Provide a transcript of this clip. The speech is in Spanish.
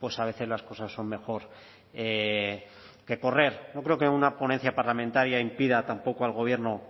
pues a veces las cosas son mejor que correr no creo que una ponencia parlamentaria impida tampoco al gobierno